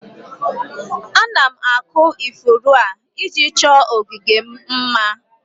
Ana m akụ ifuru a, iji chọọ ogige m mma